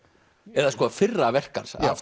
eða fyrra verk hans af